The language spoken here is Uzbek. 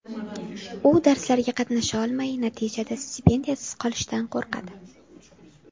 U darslarga qatnasha olmay, natijada stipendiyasiz qolishdan qo‘rqadi.